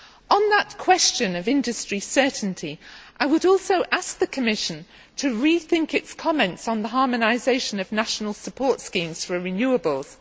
On that question of energy certainty, I would also ask the Commission to rethink its comments on the harmonisation of national support schemes for renewables.